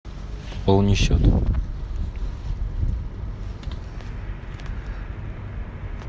пополни счет